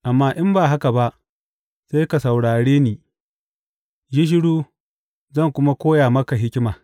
Amma in ba haka ba, sai ka saurare ni; yi shiru, zan kuma koya maka hikima.